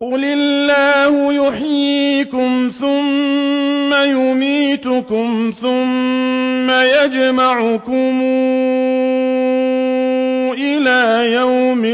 قُلِ اللَّهُ يُحْيِيكُمْ ثُمَّ يُمِيتُكُمْ ثُمَّ يَجْمَعُكُمْ إِلَىٰ يَوْمِ